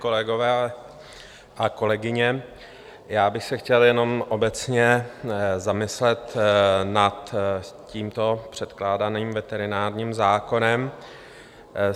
Kolegové a kolegyně, já bych se chtěl jenom obecně zamyslet nad tímto předkládaným veterinárním zákonem.